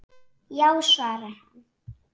Já svarar hann.